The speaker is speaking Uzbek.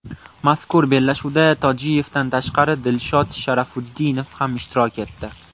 Mazkur bellashuvda Tojiyevdan tashqari Dilshod Sharofutdinov ham ishtirok etdi.